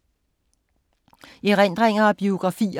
Erindringer og biografier